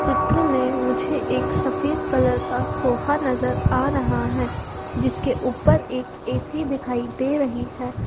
चित्र में मुझे एक सफेद कलर का सोफा नजर आ रहा है जिसके ऊपर एक ए_सी दिखाई दे रही है।